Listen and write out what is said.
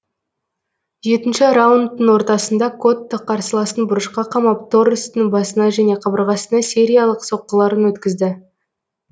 жетінші раундтың ортасында котто қарсыласын бұрышқа қамап торрестың басына және қабырғасына сериялық соққыларын өткізді